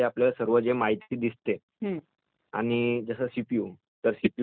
आणि जसं सीपीयू तर सीपीयूचा जो फूलफॉर्म आहे त्याची जी परिभाषा आहे